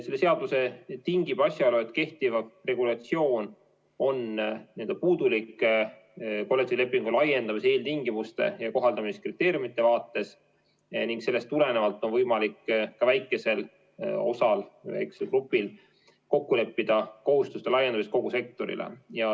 Selle seadusemuudatuse tingib asjaolu, et kehtiv regulatsioon on kollektiivlepingu laiendamise eeltingimuste ja kohaldamise kriteeriumide vaates puudulik ning sellest tulenevalt on võimalik ka väikesel grupil kogu sektorile kohustuste laiendamist kokku leppida.